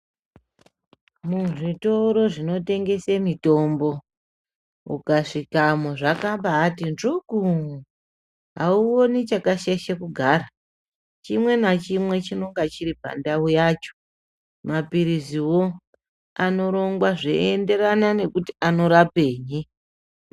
Muzvitoro zvinotengeswa mitombo ukasvikamo zvakabati njuku auoni chakashaisha kugara chimwe chinenge change nguwa yacho mapirizi anorongwa zvinoenderana anorapei.